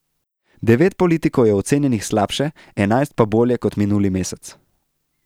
Devet politikov je ocenjenih slabše, enajst pa bolje kot minuli mesec.